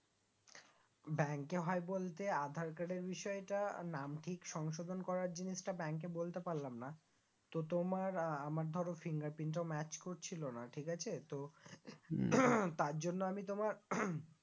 bank এ হয় বলতে আধার card এর বিষয়েটা নাম ঠিক সংশোধন করার জিনিসটা bank এ বলতে পারলাম না তো তোমার আমার ধরো finger print টা match করছিলো না ঠিক আছে তো তার জন্য আমি তোমার